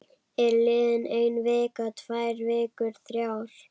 Er liðin ein vika, tvær vikur, þrjár?